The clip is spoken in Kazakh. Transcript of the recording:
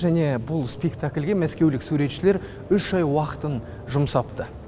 және бұл спектакльге мәскеулік суретшілер үш ай уақытын жұмсапты